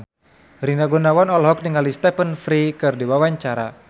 Rina Gunawan olohok ningali Stephen Fry keur diwawancara